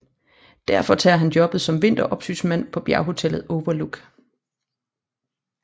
Derfor tager han jobbet som vinteropsynsmand på bjerghotellet Overlook